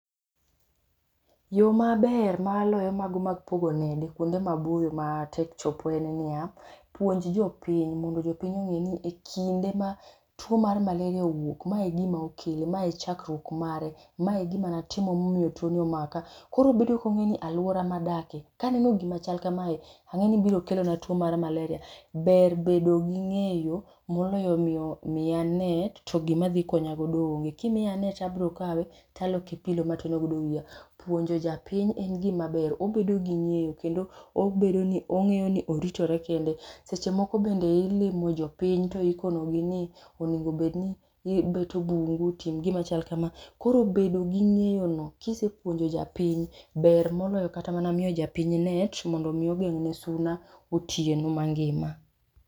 Yoo maber maloyo mago mag pogo nede kuonde maboyo matek chopo en niya, puonj jopiny mondo jopiny ng'eni ekinde ma tuo mar malaria owuok, ma egima okele, mae e chakruok mare, mae egima natimo ma tuon ni omaka. Koro obedo kongeyo ni aluora madake kaneno gima chal kamae angeni biro kelona tuo mar malaria. Ber bedo gi ng'eyo moloyo moloyo miya net to gima dhi konya go onge, kimiya to abiro kawe taloke pillow mateno godo wiya. Puonjo japiny en gima ber obedo gi ng'eyo kendo obedo ni ong'eyo ni oritore kende. Seche moko be ilimo jopiny to iikonogi ni onego obed ni ibeto bungu, tim gima chal kama. Koro bedo gi ng'eyo no kisepuonjo japiny ber moloyo kata miyo japiny net mondo mi ogeng ne suna otieno mangima